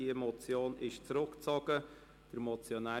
Die Motion ist zurückgezogen worden.